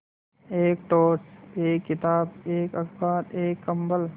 एक टॉर्च एक किताब एक अखबार एक कम्बल